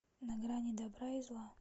на грани добра и зла